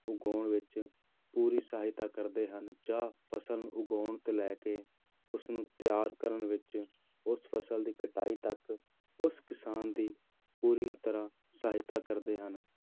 ਉਗਾਉਣ ਵਿੱਚ ਪੂਰੀ ਸਹਾਇਤਾ ਕਰਦੇ ਹਨ, ਜਾਂ ਫ਼ਸਲ ਨੂੰ ਉਗਾਉਣ ਤੋਂ ਲੈ ਕੇ ਉਸਨੂੰ ਤਿਆਰ ਕਰਨ ਵਿੱਚ ਉਸ ਫ਼ਸਲ ਦੀ ਕਟਾਈ ਤੱਕ ਉਸ ਕਿਸਾਨ ਦੀ ਪੂਰੀ ਤਰ੍ਹਾਂ ਸਹਾਇਤਾ ਕਰਦੇ ਹਨ